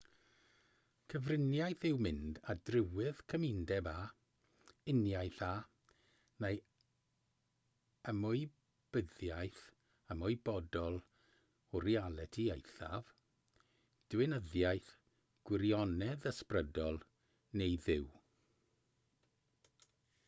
cyfriniaeth yw mynd ar drywydd cymundeb â uniaethu â neu ymwybyddiaeth ymwybodol o realiti eithaf diwinyddiaeth gwirionedd ysbrydol neu dduw